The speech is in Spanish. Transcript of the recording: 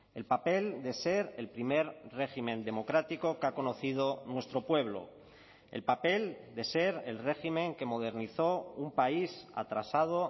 el papel de ser el primer régimen democrático que ha conocido nuestro pueblo el papel de ser el régimen que modernizó un país atrasado